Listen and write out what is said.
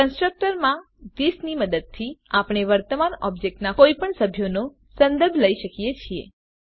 constructor માં this ની મદદથી આપણે વર્તમાન ઓબ્જેક્ટ નાં કોઈપણ સભ્યનો સંદર્ભ લઇ શકીએ છીએ